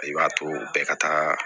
I b'a to bɛɛ ka taga